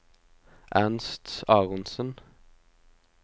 Ernst Aronsen